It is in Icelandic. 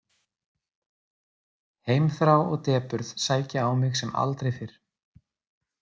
Heimþrá og depurð sækja á mig sem aldrei fyrr.